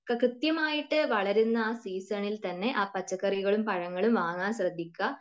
ഇപ്പോ കൃത്യമായിട്ട് വളരുന്ന ആ സീസണിൽ തന്നെ ആ പച്ചക്കറികളും പഴങ്ങളും വാങ്ങാൻ ശ്രദ്ധിക്കുക.